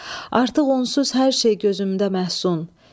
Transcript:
Artıq onsuz hər şey gözümdə məhsun.